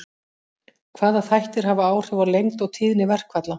Hvaða þættir hafa áhrif á lengd og tíðni verkfalla?